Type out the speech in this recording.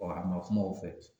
Bɔn a ma kuma o fɛ